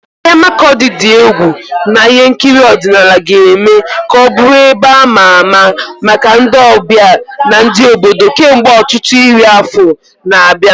Ahịa Makurdi dị egwu na ihe nkiri ọdịnala ga-eme ka ọ bụrụ ebe ama ama maka ndị ọbịa na ndị obodo kemgbe ọtụtụ iri afọ na-abịa.